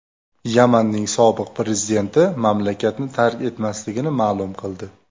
Yamanning sobiq prezidenti mamlakatni tark etmasligini ma’lum qildi.